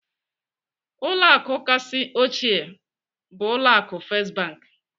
Ụlọ akụ kachasị ochie bụ ụlọ akụ First Bank.